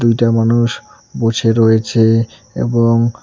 দুইটা মানুষ বসে রয়েছে এবং --